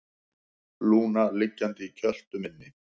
Lúna liggjandi í kjöltu minni.